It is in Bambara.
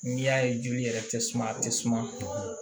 N'i y'a ye joli yɛrɛ tɛ suma a tɛ suma